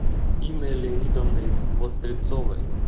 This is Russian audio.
инной леонидовной вострецовой